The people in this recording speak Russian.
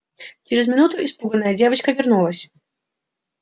через минуту испуганная девочка вернулась